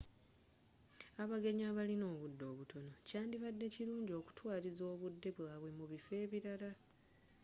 abagenyi abalina obudde obutono kyandibadde kirungi okutwaliriza obudde bwabwe mu biffo ebirala